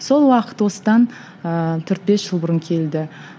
сол уақыт осыдан ыыы төрт бес жыл бұрын келді